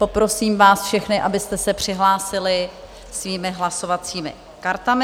Poprosím vás všechny, abyste se přihlásili svými hlasovacími kartami.